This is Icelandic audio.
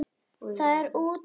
Það er útrætt mál.